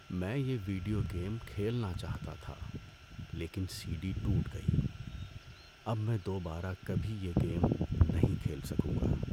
میں یہ video game کھیلنا چاہتا تھا لیکن سی ڈی ٹوٹ گئی۔ اب میں دوبارہ کبھی یہ گیم نہیں کھیل سکوں گا۔